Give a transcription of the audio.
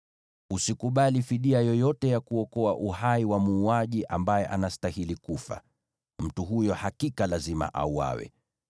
“ ‘Usikubali fidia yoyote ya kuokoa uhai wa muuaji ambaye anastahili kufa. Mtu huyo hakika lazima auawe.